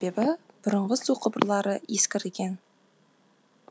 себебі бұрынғы су құбырлары ескірген